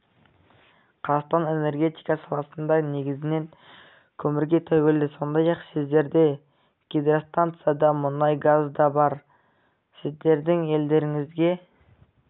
қазақстан энергетика саласында негізінен көмірге тәуелді сондай-ақ сіздерде гидростанция да мұнай газ да бар сіздердің елдеріңізге